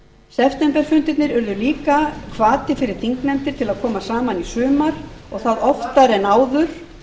septemberfundirnir urðu líka hvati fyrir þingnefndir til að koma saman í sumar og það oftar en áður